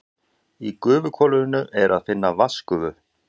Í gufuhvolfinu er að finna vatnsgufu.